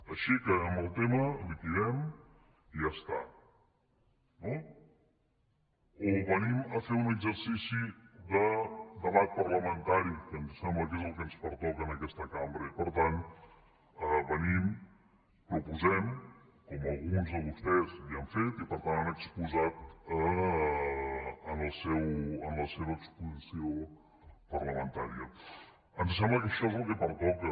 així acabem el tema liquidem i ja està no o venim a fer un exercici de debat parlamentari que ens sembla que és el que ens pertoca en aquesta cambra i per tant venim proposem com alguns de vostès ja han fet i per tant han exposat en la seva exposició parlamentària ens sembla que això és el que pertoca